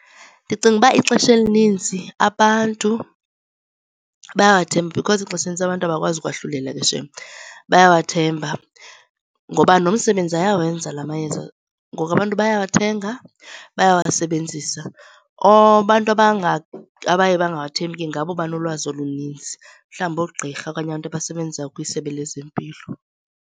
Ndicinga uba ixesha elininzi abantu bayawathemba because ixesha elinintsi abantu abakwazi ukwahlulela ke shem. Bayawathemba ngoba nomsebenzi ayawenza la mayeza. Ngoku abantu bayawathenga bayawasebenzisa. Abantu abaye bangawathembi ke ngabo banolwazi oluninzi mhlawumbi oogqirha okanye abantu abasebenza kwisebe lezempilo.